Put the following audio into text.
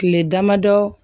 Kile damadɔ